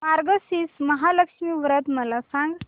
मार्गशीर्ष महालक्ष्मी व्रत मला सांग